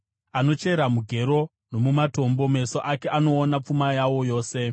Anochera mugero nomumatombo; meso ake anoona pfuma yawo yose.